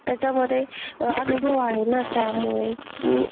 त्याच्यामधे अनुभव आहे ना त्यामुळे मी,